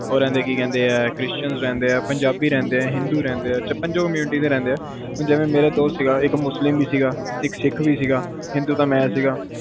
ਉਹ ਰਹਿੰਦੇ ਹੈ ਕਿ ਕਹਿੰਦੇ ਹਾਂ christans ਰਹਿੰਦੇ ਹਾਂ ਪੰਜਾਬੀ ਰਹਿੰਦੇ ਹਾਂ ਹਿੰਦੂ ਰਹਿੰਦੇ ਹਾਂ ਪੰਜੋ community ਦੇ ਰਹਿੰਦੇ ਹਾਂ, ਜਿਵੇ ਮੇਰਾ ਦੋਸਤ ਸੀਗਾ ਇਕ ਮੁਸਲਿਮ ਸੀਗਾ ਸਿੱਖ ਸੀਗਾ ਹਿੰਦੂ ਤਾ ਮਈ ਸੀਗਾ ਪੰਜਾਬੀ ਵੀ ਸੀ